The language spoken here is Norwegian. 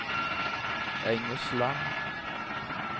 Engesland